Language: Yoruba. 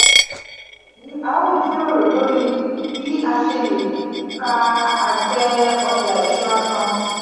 leyin eyi a o jiroro lori bi a ṣe le ka ate oja iṣura kan.